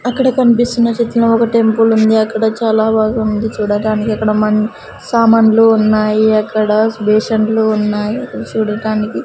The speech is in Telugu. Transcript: అక్కడ కనిపిస్తున్న చిత్రం లో ఒక టెంపుల్ ఉంది అక్కడ చాలా బాగుంది చూడటానికి అక్కడ మన్ సామాన్లు ఉన్నాయి అక్కడ బేషన్లు ఉన్నాయి చూడటానికి.